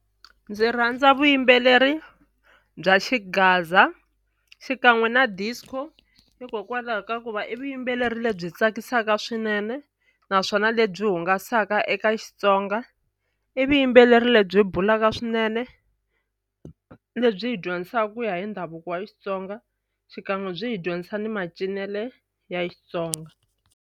Ndzi rhandza vuyimbeleri bya xigaza xikan'we na disco hikokwalaho ka ku va i vuyimbeleri lebyi tsakisaka swinene naswona lebyi hungasaka ka Xitsonga i vuyimbeleri lebyi bulaka swinene lebyi hi dyondzisaka ku ya hi ndhavuko wa Xitsonga xikan'we byi hi dyondzisa ni macinelo ya Xitsonga.